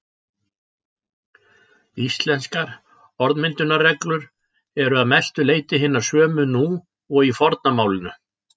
Íslenskar orðmyndunarreglur eru að mestu leyti hinar sömu nú og í forna málinu.